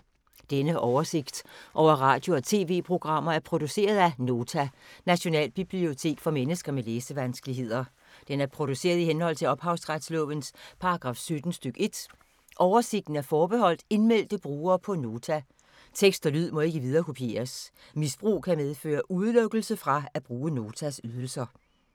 Denne oversigt over radio og TV-programmer er produceret af Nota, Nationalbibliotek for mennesker med læsevanskeligheder. Den er produceret i henhold til ophavsretslovens paragraf 17 stk. 1. Oversigten er forbeholdt indmeldte brugere på Nota. Tekst og lyd må ikke viderekopieres. Misbrug kan medføre udelukkelse fra at bruge Notas ydelser.